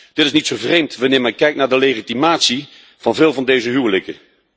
Dit is niet zo vreemd wanneer men kijkt naar de legitimatie van veel van deze huwelijken.